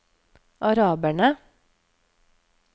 araberne